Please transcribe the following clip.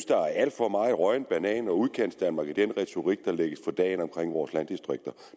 der er alt for meget rådden banan og udkantsdanmark i den retorik der lægges for dagen om vores landdistrikter